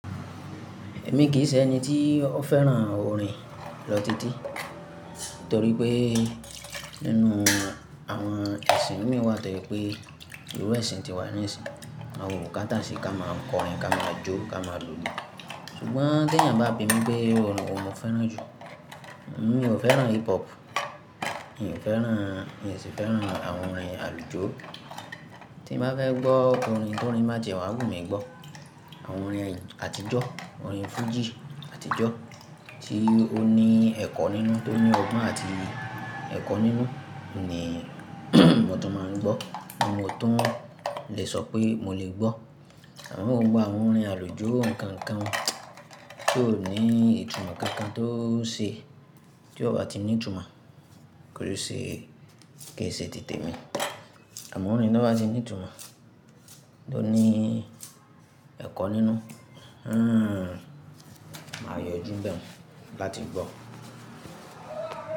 Èmi kì í ṣe ẹni tí ó fẹ́ràn orin lọ títí, torí pé nínú àwọn ẹ̀sìn mí wà tó pé irú ẹ̀sìn ti wà ní ìsìn. A ò katà sí ká máa kọrin, ká máa jó, ká máa lulẹ̀. Ṣùgbọ́n tí ènìyàn bá bi mi pé iru òrin wò ni mọ fẹ́ràn ju, mi ò fẹ́ràn hip hop, mi ò fẹ́ràn, mi sì fẹ́ràn àwọn orin àlùjọ. Tí mo bá fẹ́ gbọ́ orin, b'orin ba tiẹ wà wù mi gbọ́. Àwọn orin àtijọ́, orin fújì àtijọ́ tí ó ní ẹ̀kọ́ nínú, tó ní ọgbọ́n àti ẹ̀kọ́ nínú ni mo tun máa ń gbọ́ ni mo tun lè sọ pé mo lè gbọ́. Àmọ́ gbogbọ àwọn orin àlùjọ nǹkan nǹkan ti ó ní ìtumọ̀ kankan tó ṣe, tí ó bá ti ní ìtumọ̀, kí ó ṣe kì í ṣe tètè mi. Àmọ́ orin tí ó bá ti ní ìtumọ̀, tó ní ẹ̀kọ́ nínú, hmm, màá yọjú n'bẹ́un láti gbọ́.